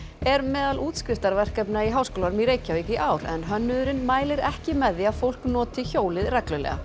er meðal í Háskólanum í Reykjavík í ár en hönnuðurinn mælir ekki með því að fólk noti hjólið reglulega